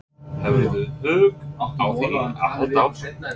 Hefurðu hug á því að halda áfram?